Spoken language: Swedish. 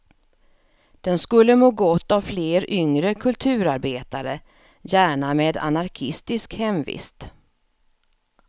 Den skulle må gott av fler yngre kulturarbetare, gärna med anarkistisk hemvist.